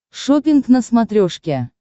шоппинг на смотрешке